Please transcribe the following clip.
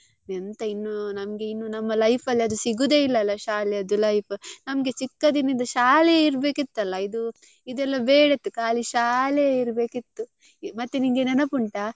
ಎಂತ ಇನ್ನು ನಮ್ಗೆಇನ್ನು ನಮ್ಮ life ಅಲ್ಲಿ ಅದು ಸಿಗುದೆ ಇಲ್ಲ ಅಲ್ಲ ಶಾಲೆದ್ದು life ನಮ್ಗೆ ಚಿಕ್ಕದಿನಿಂದ ಶಾಲೆಯೆ ಇರ್ಬೇಕಿತ್ತಲ್ಲ ಇದು ಇದೆಲ್ಲ ಬೇಡ ಇತ್ತು ಖಾಲಿ ಶಾಲೆಯೇ ಇರ್ಬೆಕಿತ್ತು ಮತ್ತೆ ನಿನ್ಗೆ ನೆನಪುಂಟಾ.